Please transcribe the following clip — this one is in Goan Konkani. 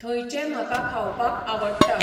थंयचें म्हाका खावपाक आवडटा.